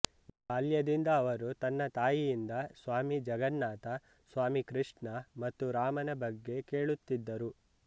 ಬಾಲ್ಯದಿಂದ ಅವರು ತನ್ನ ತಾಯಿಯಿಂದ ಸ್ವಾಮಿ ಜಗನ್ನಾಥ ಸ್ವಾಮಿ ಕೃಷ್ಣ ಮತ್ತು ರಾಮನ ಬಗ್ಗೆ ಕೇಳುತ್ತಿದ್ದರು